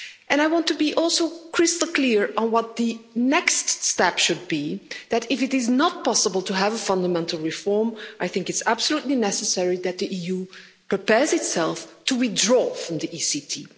I want to be also crystal clear on what the next step should be, that if it is not possible to have a fundamental reform, I think it's absolutely necessary that the EU prepares itself to withdraw from the ECT.